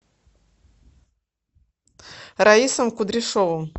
раисом кудряшовым